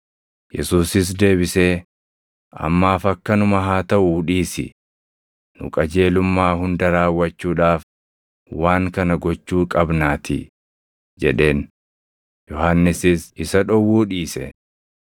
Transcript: Yesuusis deebisee, “Ammaaf akkanuma haa taʼuu dhiisi; nu qajeelummaa hunda raawwachuudhaaf waan kana gochuu qabnaatii” jedheen. Yohannisis isa dhowwuu dhiise.